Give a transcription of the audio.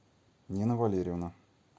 нина валерьевна